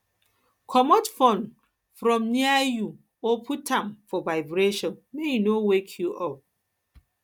comot phone from near you or put am for vibration make e no wake you up